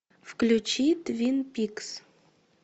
включи твин пикс